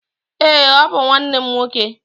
Ee, ọ bụ nwanne m nwoke.